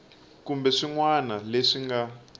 kumbe swin wana leswi nga